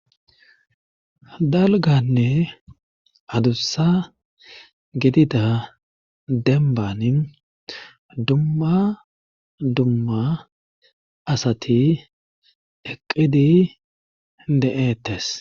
dalganne adussa gidida demban dumma dumma asati eqqidi de7eettes